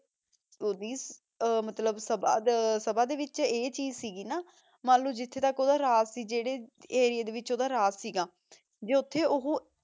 ਓੜੀ ਮਤਲਬ ਸਬ ਸਬਾਹ ਦੇ ਵਿਚ ਇਹ ਚੀਜ਼ ਸੀਗੀ ਨਾ ਮਨ ਲੋ ਜਿਥੇ ਤਕ ਓਦਾ ਰਾਜ ਸੀ ਜੇਰੇ ਅਰਇਆ ਦੇ ਵਿਚ ਓਦਾ ਰਾਜ ਸੀਗਾ ਜੇ ਓਥੇ ਓਹੋ